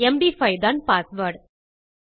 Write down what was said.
MD five தான் password